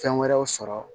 Fɛn wɛrɛw sɔrɔ